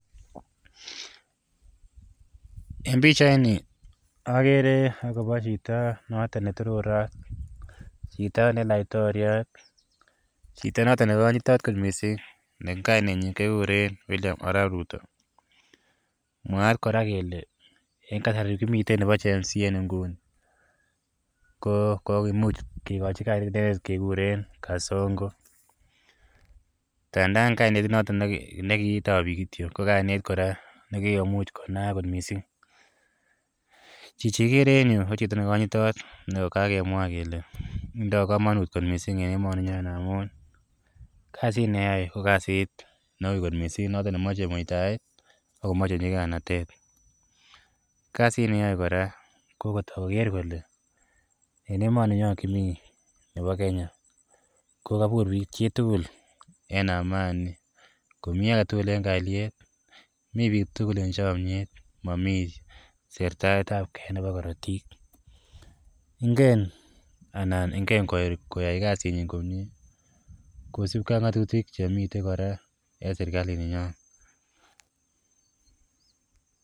En bichait agere akobo Chito noton ne laiktoriat Chito noton nekanyitenot mising NE kainenyin ko Arab Ruto mwaat koraa Kole en kasari kimiten Nebo gen z kobun ako kakemuch kekuren kasongo tandana kainget noton kokitachin bik ko kainet koraa nemuch kokikonaak mising Chichi igere en ireyu ko Chito nekanyitenot akokakemwaa Kole tinye kamanut kot missing en emoni nyon amun kasit neyoe ko kasit Neu kot mising neyache komae mutyaet akomache nyikainatet kasit neyae koraa koyache Koger Kole en emoni nyon kimii Nebo Kenya kokabut chitugul en Amani Komi agetugul en kaliet ako mi bik tugul en chamiet ako mamii Serta ab gee Nebo Karatik Ingen anan Ingen koyai kasit nyin komie kosibgei kosibgei ak ngatutik Chemiten koraa en serikalit nenyon